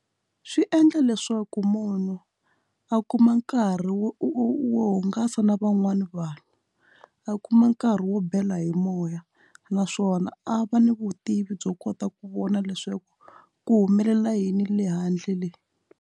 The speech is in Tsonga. Swi endla leswaku munhu a kuma nkarhi wo wo hungasa na van'wani vanhu a kuma nkarhi wo bela hi moya naswona a va ni vutivi byo kota ku vona leswaku ku humelela yini le handle.